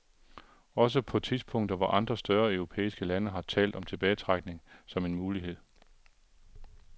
Også på tidspunkter hvor andre større europæiske lande har talt om tilbagetrækning som en mulighed.